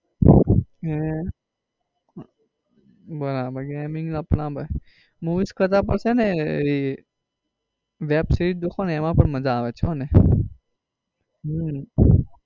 હે બરાબર gaming નો બરાબર movies કરતા પણ છે ને web series જોશો ને એમાં પણ માજા આવે છે હોને